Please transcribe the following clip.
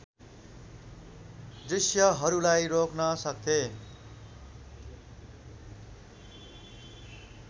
दृष्यहरूलाई रोक्न सक्थेँ